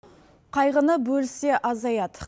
қайғыны бөліссе азаяды